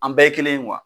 An bɛɛ ye kelen ye